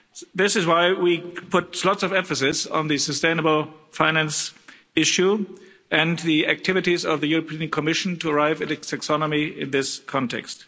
This is why we put a lot of emphasis on the sustainable finance issue and the activities of the European Commission to arrive at taxonomy in this context.